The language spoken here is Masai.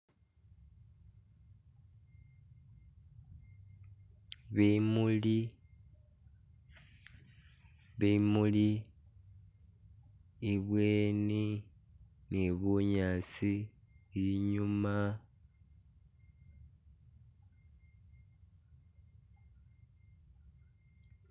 bimuli bimuli ibweni ni bunyaasi inyuma